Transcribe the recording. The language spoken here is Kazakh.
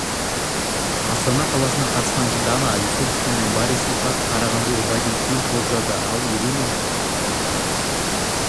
астана қаласынан қатысқан дана юсупова мен борис ипатов қарағандылық вадим ким топ жарды ал ирина